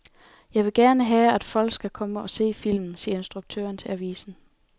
Jeg vil gerne have, at folk skal komme og se filmen, siger instruktøren til avisen.